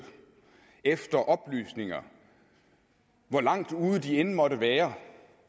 efter oplysninger hvor langt ude de end måtte være